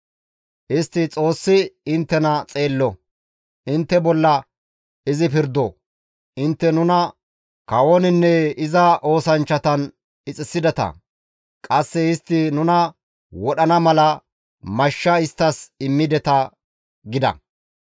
Istti, «Xoossi inttena xeello! Intte bolla izi pirdo! Intte nuna kawoninne iza oosanchchatan ixisideta; qasse istti nuna wodhana mala, mashsha isttas immideta» gida.